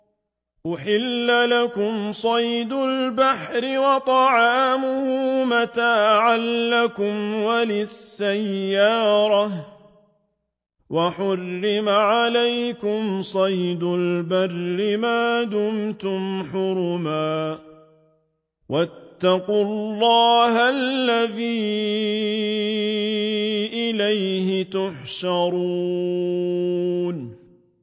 أُحِلَّ لَكُمْ صَيْدُ الْبَحْرِ وَطَعَامُهُ مَتَاعًا لَّكُمْ وَلِلسَّيَّارَةِ ۖ وَحُرِّمَ عَلَيْكُمْ صَيْدُ الْبَرِّ مَا دُمْتُمْ حُرُمًا ۗ وَاتَّقُوا اللَّهَ الَّذِي إِلَيْهِ تُحْشَرُونَ